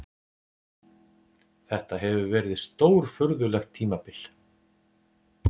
Þetta hefur verið stórfurðulegt tímabil.